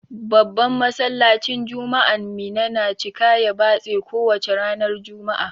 Babban Masallacin juma'an Minna na cika ya batse ko wace ranar juma'a.